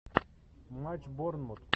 матч борнмут